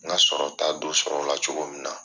N ga sɔrɔ ta dɔ sɔrɔ o la cogo min na.